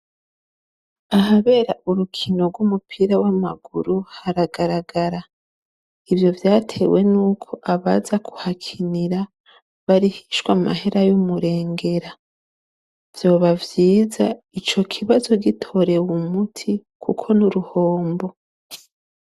Ahabera urukino rw'umupira w'amaguru haragarara ivyo vyatewe nuko abaza ku hakinira barihishwa amahera yumurengera vyoba vyiza ico kibazo gitorewe umuti kuko n'igihombo.